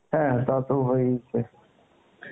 হ্যাঁ তা তো হয়েইছে